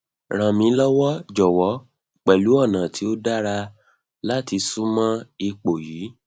ran mi lọwọ jọwọ pẹlu ọna ti o dara lati sunmọ ipo yii